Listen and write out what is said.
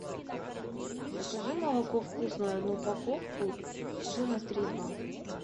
закажи молоко вкусное одну упаковку жирность три и два